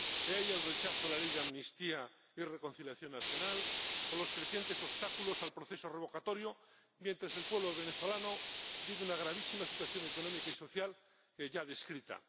He ahí el rechazo a la Ley de Amnistía y Reconciliación Nacional o los crecientes obstáculos al proceso revocatorio, mientras el pueblo venezolano vive una gravísima situación económica y social ya descrita.